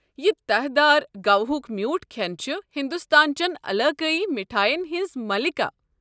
یہِ تہہ دار گواہُک میوٗٹھ كھٮ۪ن چھِ ہندوستان چین علاقٲیی مٹھایَن ہِنٛز ملکہ۔